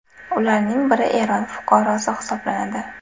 Ularning biri Eron fuqarosi hisoblanadi.